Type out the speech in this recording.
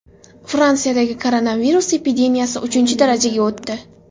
Fransiyadagi koronavirus epidemiyasi uchinchi darajaga o‘tdi.